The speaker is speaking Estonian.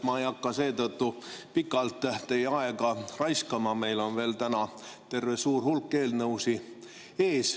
Ma ei hakka seetõttu pikalt teie aega raiskama, meil veel täna terve suur hulk eelnõusid ees.